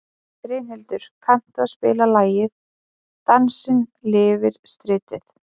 Brynhildur, kanntu að spila lagið „Dansinn lifir stritið“?